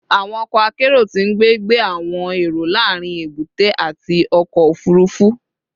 Awọn ọkọ akero ti ngbe gbe awọn ero laarin ebute ati ọkọ ofurufu